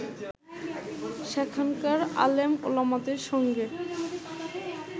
সেখানকার আলেম-ওলামাদের সঙ্গে